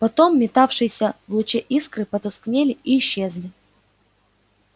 потом метавшиеся в луче искры потускнели и исчезли